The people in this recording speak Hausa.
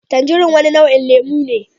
Tanjirin wani nau'in lemu ne